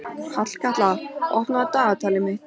Hallkatla, opnaðu dagatalið mitt.